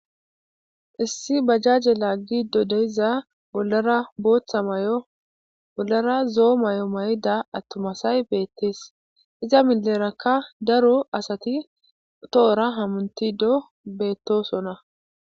Issi bajaje lagide de'iza bollara zo'o mayo mayida atuma asay betes iza mileraka daro asati tohora hamutido betosona